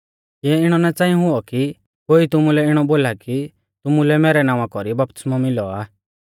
किऐ इणौ ना च़ांई हुऔ कि कोई तुमुलै इणौ बोला कि तुमुलै मैरै नावां कौरी बपतिस्मौ मिलौ आ